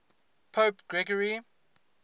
pope gregory